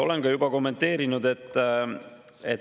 Olen juba kommenteerinud.